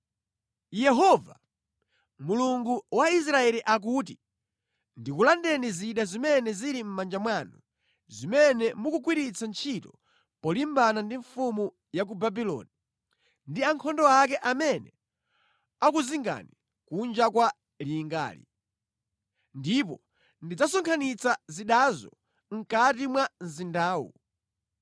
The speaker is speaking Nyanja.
‘Yehova, Mulungu wa Israeli akuti ndikulandeni zida zimene zili mʼmanja mwanu zimene mukugwiritsa ntchito polimbana ndi mfumu ya ku Babuloni ndi ankhondo ake amene akuzingani kunja kwa lingali. Ndipo ndidzasonkhanitsa zidazo mʼkati mwa mzindawu.